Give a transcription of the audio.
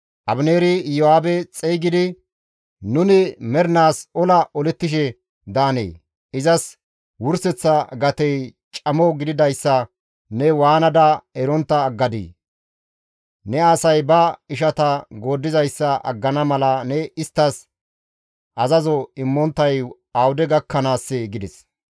Abineeri Iyo7aabe xeygidi, «Nuni mernaas ola olettishe daanee? Izas wurseththa gatey camo gididayssa ne waanada erontta aggadii? Ne asay ba ishata gooddizayssa aggana mala ne isttas azazo immonttay awude gakkanaassee?» gides.